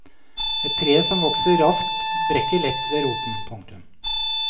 Et tre som vokser raskt brekker lett ved roten. punktum